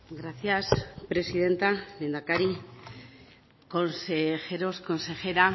gracias presidenta lehendakari consejeros consejera